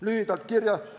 Lühidalt kirjast.